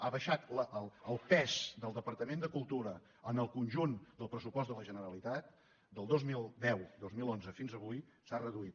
ha baixat el pes del departament de cultura en el conjunt del pressupost de la generalitat del dos mil deu dos mil onze fins avui s’ha reduït